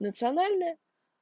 национальная